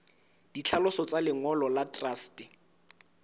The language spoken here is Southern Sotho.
ditlhaloso tsa lengolo la truste